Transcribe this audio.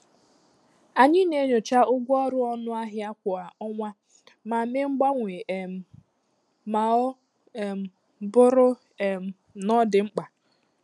Anyị na-enyocha ụgwọ ọrụ ọnụ ahịa kwa ọnwa ma mee mgbanwe um ma ọ um bụrụ um na ọ dị mkpa.